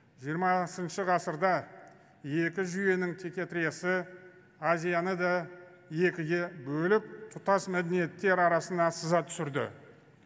жиырмасыншы ғасырда екі жүйенің текетіресі азияны да екіге бөліп тұтас мәдениеттер арасына сызат түсірді